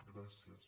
gràcies